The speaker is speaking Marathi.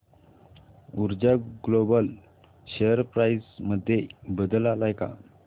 ऊर्जा ग्लोबल शेअर प्राइस मध्ये बदल आलाय का